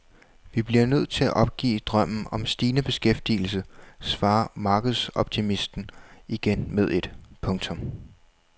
Vi bliver nødt til at opgive drømmen om stigende beskæftigelse svarer markedsoptimisten igen med et. punktum